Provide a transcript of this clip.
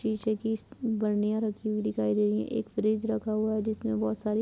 शीशे की बर्निया रखी हुई दिखाई दे रही हैं। एक फ्रिज रखा हुआ है। जिसमें बोहोत सारी --